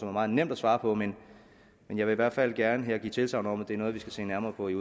er meget nemt at svare på men jeg vil hvert fald gerne her give tilsagn om at det er noget vi skal se nærmere på i